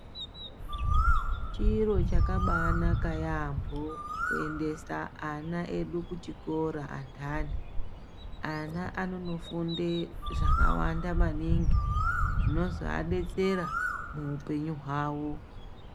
Chiro chakabanaka yaambo kuendesa ana edu kuchikora anthani, ana anonofunde zvakawanda maningi zvinozoadetsera muupenyu hwavo.